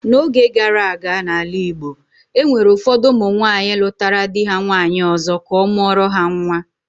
N'oge gara aga, n'ala Igbo, e nwere ụfọdụ ụmụ nwaanyị lụtara di ha nwaanyị ọzọ ka ọ mụọrọ ha nwa